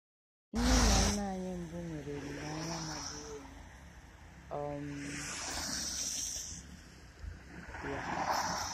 Nne na nna anyị mbụ nwere olileanya magburu onwe um ya